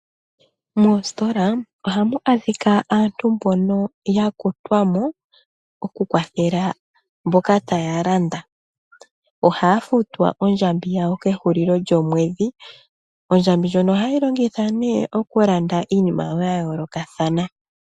Moositola oha mu adhika aantu mbono ya kutwa mo, oku kwathela mboka ta ya landa. Ohaa futwa ondjambi yawo kehulilo lyomwedhi. Ondjambi ndjono ohaye yi longitha ne oku landa iinima yawo ya yoolokathana.